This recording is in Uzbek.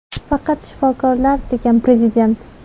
Faqat shifokorlar”, degan Prezident.